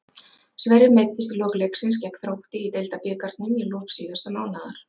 Sverrir meiddist í lok leiksins gegn Þrótti í Deildabikarnum í lok síðasta mánaðar.